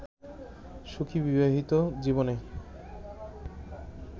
সুখী বিবাহিত জীবনে